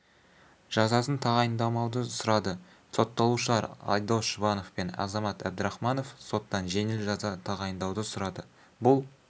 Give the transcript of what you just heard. жазасын тағайындамауды сұрады сотталушылар айдос жұбанов пен азамат әбдірахманов соттан жеңіл жаза тағайындауды сұрады бұл